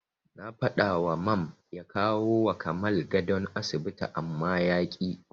Na faɗawa Mam ya kawowa Kamal gadon asibiti amma yaƙi.